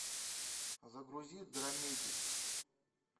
загрузи драмеди